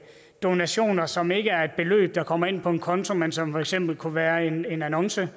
donationer som ikke er et beløb der kommer ind på en konto men som for eksempel kunne være en annonce